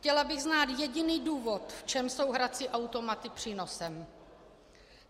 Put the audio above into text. Chtěla bych znát jediný důvod, v čem jsou hrací automaty přínosem.